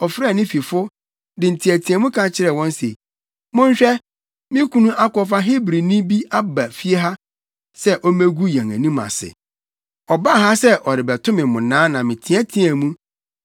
ɔfrɛɛ ne fifo, de nteɛteɛmu ka kyerɛɛ wɔn se, “Monhwɛ! Me kunu akɔfa Hebrini bi aba fie ha sɛ ommegu yɛn anim ase. Ɔbaa ha sɛ ɔrebɛto me mmonnaa na meteɛteɛɛ mu.